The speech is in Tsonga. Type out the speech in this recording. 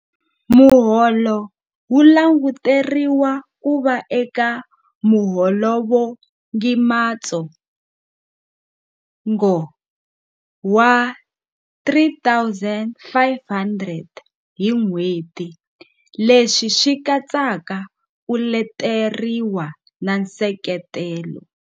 Muholo wu languteriwa ku va eka muholovugimatsongo wa R3 500.00 hi n'hweti, leswi swi katsaka ku leteriwa na nseketelo.